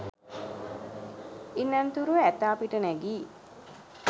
ඉන් අනතුරුව ඇතා පිට නැගී